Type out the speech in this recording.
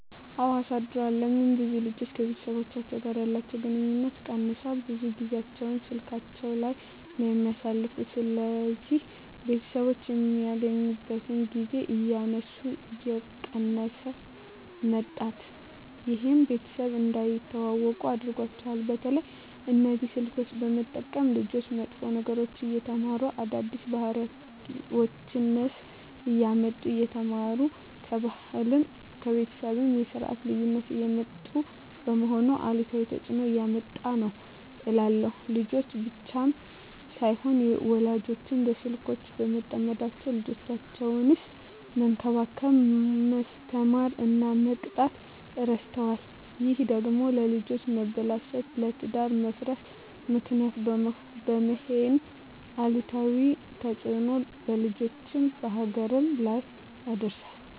አወ አሳድሯል ለምን ብዙ ልጆች ከቤተሰቦቻቸው ጋር ያለቸዉ ግንኙነት ቀነሷል ብዙ ጊያቸዉን ስላካቸዉ ላይ ነዉ የሚያሳልፉት ስለዚህ ቤተሰቦች የሚገናኙበት ጊዜ እያነሰ እየቀነሰ መጧት ይሄም ቤተሰብ እንዳይተዋወቁ አድርጓቸዋል። በተለይ እነዚህ ስልኮችን በመጠቀም ልጆች መጥፎ ነገሮችን እየተማሩ አዳዲስ ባህሪወችነሰ እያመጡ እየተማሩ ከባህልም ከቤተሰብም የስርት ልዩነት እያመጡ በመሆኑ አሉታዊ ተጽእኖ እያመጣ ነዉ እላለሁ። ልጆች ብቻም ሳይሆኑ ወላጆችም በስልኮች በመጠመዳቸዉ ልጆቻቸዉነሰ መንከባከብ፣ መስተማር እና መቅጣት እረስተዋል ይሄ ደግሞ ለልጆች መበላሸት ለትዳር መፍረስ ምክንያት በመሄን አሉታዊ ተጽእኖ በልጆችም በሀገርም ላይ ያደርሳል።